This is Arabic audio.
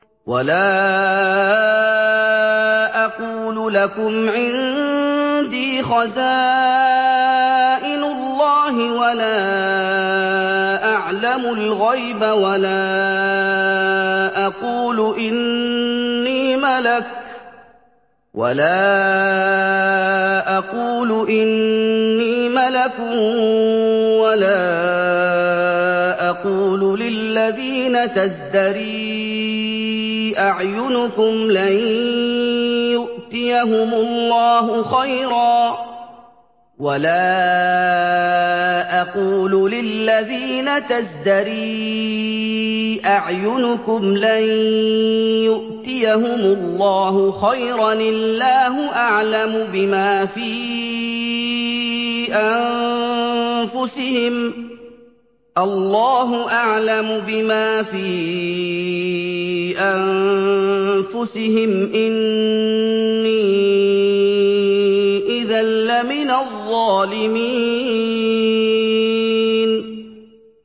وَلَا أَقُولُ لَكُمْ عِندِي خَزَائِنُ اللَّهِ وَلَا أَعْلَمُ الْغَيْبَ وَلَا أَقُولُ إِنِّي مَلَكٌ وَلَا أَقُولُ لِلَّذِينَ تَزْدَرِي أَعْيُنُكُمْ لَن يُؤْتِيَهُمُ اللَّهُ خَيْرًا ۖ اللَّهُ أَعْلَمُ بِمَا فِي أَنفُسِهِمْ ۖ إِنِّي إِذًا لَّمِنَ الظَّالِمِينَ